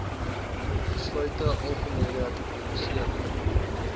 besluite algemene gepubliseerde